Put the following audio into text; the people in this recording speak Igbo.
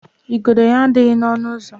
igodo ya adịghị n'ọnụ ụzọ.